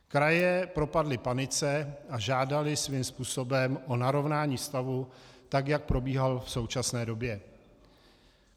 Kraje propadly panice a žádaly svým způsobem o narovnání stavu, tak jak probíhal v současné době.